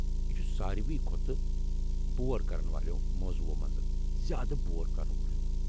یہِ چُھ سارِوے کھۄتہٕ بور كرن والیو موضوعو منٛزٕ زیادٕ بور كرن وول ہِیٚوٗ ۔